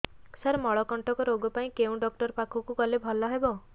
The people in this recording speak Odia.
ସାର ମଳକଣ୍ଟକ ରୋଗ ପାଇଁ କେଉଁ ଡକ୍ଟର ପାଖକୁ ଗଲେ ଭଲ ହେବ